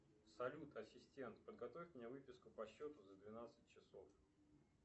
салют ассистент подготовь мне выписку по счету за двенадцать часов